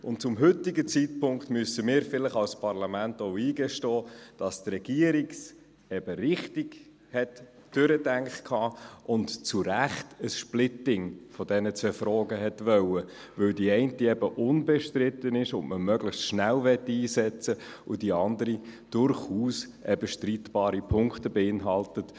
Zum heutigen Zeitpunkt müssen wir uns als Parlament vielleicht auch eingestehen, dass die Regierung es eben richtig durchdacht hatte und zu Recht ein Splitting dieser zwei Fragen wollte, da die eine eben unbestritten ist und man sie möglichst schnell einsetzen möchte, während die andere durchaus streitbare Punkte beinhaltet.